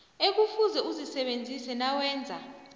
ekufuze uzisebenzise nawenza